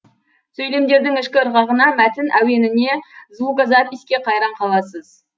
сөйлемдердің ішкі ырғағына мәтін әуеніне звукопиське қайран қаласыз